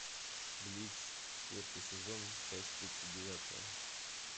блич четвертый сезон часть тридцать девятая